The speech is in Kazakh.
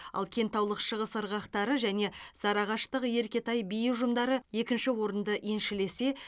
ал кентаулық шығыс ырғақтары және сарыағаштық еркетай би ұжымдары екінші орынды еншілесе